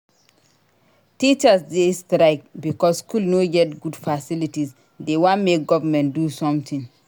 Teachers dey strike because skool no get good facilities dey wan make government do sometin.